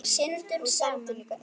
Hún stendur líka upp.